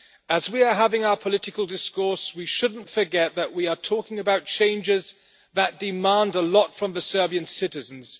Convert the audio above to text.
As we are having our political discourse, we should not forget that we are talking about changes that demand a lot from the Serbian citizens.